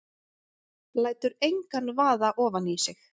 Lætur engan vaða ofan í sig.